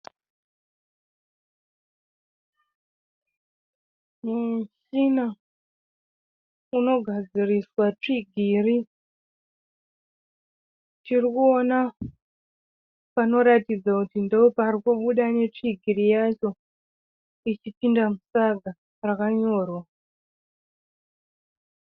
Muchina unogadziriswa tsvigiri. Tirikuona panoratidza kuti ndooparikubuda netsvigiri yacho ichipinda musaga rakanyorwa.